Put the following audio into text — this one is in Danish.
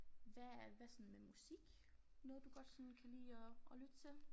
Hvad hvad sådan med musik noget du godt sådan kan lide at at lytte til